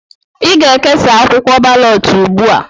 Ị ga-ekesa akwụkwọ balọt ugbu a!